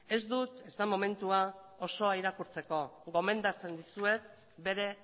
ez dut ez baita momentua osoa irakurtzeko gomendatzen dizuet bere